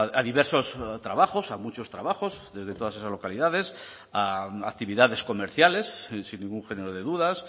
a diversos trabajos a muchos trabajos desde todas esas localidades a actividades comerciales sin ningún género de dudas